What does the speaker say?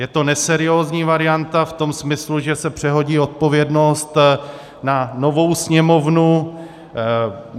Je to neseriózní varianta v tom smyslu, že se přehodí odpovědnost na novou Sněmovnu.